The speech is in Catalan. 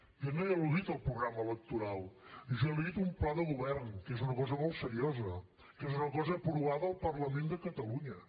jo no he al·ludit al programa electoral jo he al·ludit a un pla de govern que és una cosa molt seriosa que és una cosa aprovada al parlament de catalunya